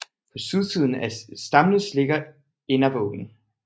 På sydsiden af Stamnes ligger Innervågen